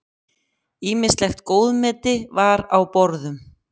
Ýmislegt góðmeti var á borðum.